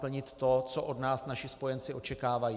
plnit to, co od nás naši spojenci očekávají.